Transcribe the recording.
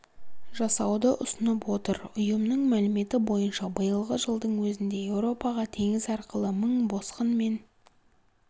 жасауды ұсынып отыр ұйымның мәліметі бойынша биылғы жылдың өзінде еуропаға теңіз арқылы мың босқын мен